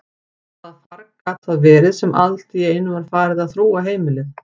Hvaða farg gat það verið sem alltíeinu var farið að þrúga heimilið?